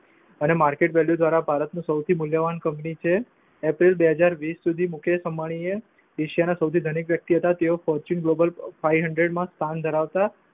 અને market value દ્વારા ભારતની સૌથી મૂલ્યવાન કંપની છે. એપ્રિલ બે હજાર વિષ સુધી, મુકેશ અંબાણી એશિયાના સૌથી ધનિક વ્યક્તિ હતા. તેઓ ફોર્ચ્યુન ગ્લોબલ fivehundred માં સ્થાન ધરાવતા